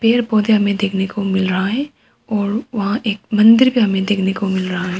पेड़ पौध हमें देखने को मिल रहा है और वहां एक मंदिर भी हमें देखने को मिल रहा है।